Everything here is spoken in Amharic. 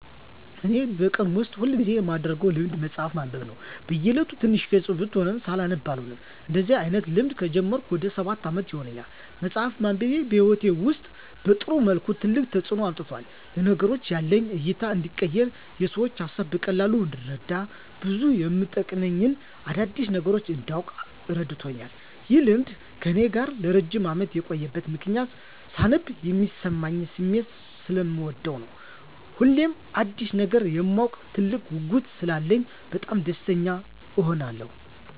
እኔ በቀን ውስጥ ሁል ጊዜ የማደረገው ልማድ መጽሀፍ ማንበብ ነው። በ እየለቱ ትንሽም ገፅ ብትሆን ሳላነብ አልውልም። እንደዚህ አይነት ልማድ ከጀመርኩ ወደ ሰባት አመት ይሆናል። መፅሃፍ ማንበቤ በህይወቴ ውስጥ በጥሩ መልኩ ትልቅ ተፅዕኖ አምጥቷል። ለነገሮች ያለኝ እይታ እንዲቀየር፣ የሰዎችን ሀሳብ በቀላሉ እንድረዳ፣ ብዙ የመጠቅሙኝን አዳዲስ ነገሮች እንዳውቅ እረድቶኛል። ይህ ልማድ ከእኔ ጋር ለረጅም አመት የቆየበት ምክንያትም ሳነብ የሚሰማኝን ስሜት ሰለምወደው ነው። ሁሌም አዲስ ነገር የማወቅ ትልቅ ጉጉት ስላለኝ በጣም ደስተኛ እሆናለሁ።